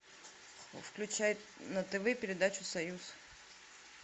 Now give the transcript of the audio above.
включай на тв передачу союз